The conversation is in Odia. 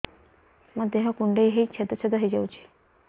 ମୋ ଦେହ କୁଣ୍ଡେଇ ହେଇ ଛେଦ ଛେଦ ହେଇ ଯାଉଛି